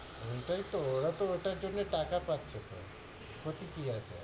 ওইটাই তো, ওরা তো ওটার জন্য় টাকা পাচ্ছে তো, ক্ষতি কি আছে?